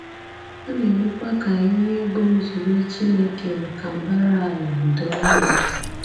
Ọ na-emekwa ka ihe bụ́ nzube Chineke maka mbara ala a doo anya.